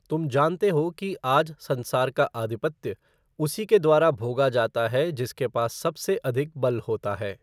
तुम जानते हो कि आज संसार का आधिपत्य उसी के द्वारा भोगा जाता है जिसके पास सबसे अधिक बल होता है।